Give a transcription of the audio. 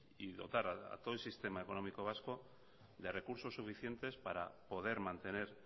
y dotara a todo el sistema económico vasco de recursos suficientes para poder mantener